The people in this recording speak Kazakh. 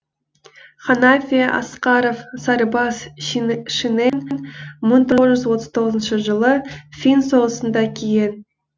ханафия асқаров сарбаз шинелін мың тоғыз жүз отыз тоғызыншы жылы фин соғысында киген